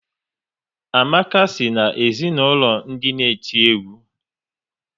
Amaka si na ezinaụlọ ndị n'eti egwu